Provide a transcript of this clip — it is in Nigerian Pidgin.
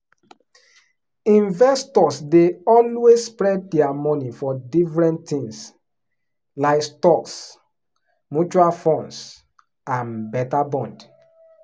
when new pikin show parents dey quickly um start to save emergency money after dem um born second pikin.